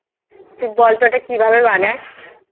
তুই বলতো এটা কিভাবে বানাস।